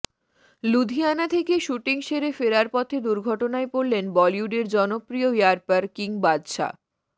লুধিয়ানা থেকে শ্যুটিং সেরে ফেরার পথে দুর্ঘটনায় পড়লেন বলিউডের জনপ্রিয় র্যাপার কিং বাদশা